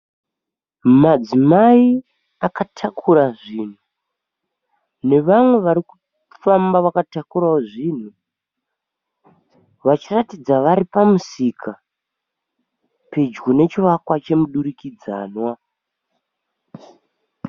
Madzimai akatakura zvinhu nevamwe vari kufamba vakatakurawo zvinhu vachiratidza vari pamusika pedyo nechivakwa chomudurikidzanwa.